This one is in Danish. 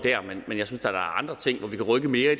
mere